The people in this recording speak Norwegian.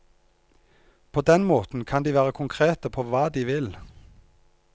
På den måten kan de være konkrete på hva de vil.